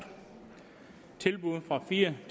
tilbuddet fra fire